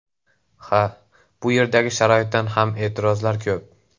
Ha, bu yerdagi sharoitdan ham e’tirozlar ko‘p.